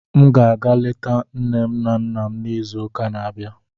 M ga-aga leta nne na nna m n'izuuka na-abịa.